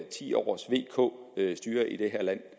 ti års vk styre i det her land